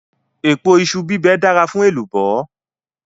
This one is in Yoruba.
Èpo iṣu bíbẹ dára fún èlùbọ́.